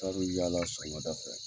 Ka bɛ yaala sɔgɔmada fɛ.